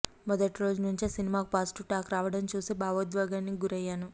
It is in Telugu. మొదటి రోజు నుంచే సినిమాకు పాజిటివ్ టాక్ రావడం చూసి భావోద్వేగానికి గురయ్యాను